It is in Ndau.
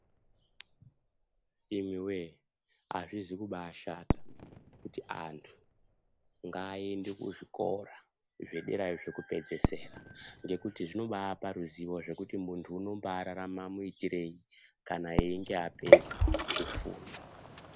Imiwee hazvizi kubashata kuti antu ngaende kuzvikora zvederayo zvekupedzesira, ngekuti zvinobapa ruzivo zvekuti muntu unombararama muitireyi kana einge apedza kufunda.